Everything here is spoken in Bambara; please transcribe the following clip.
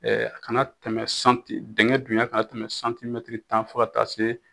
a kana tɛmɛ santi, dinkɛn dunya kana tɛmɛ santimɛtiri tan fo taa se